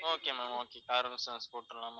okay ma'am okay car insurance போட்டுடலாம ma'am